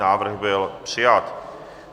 Návrh byl přijat.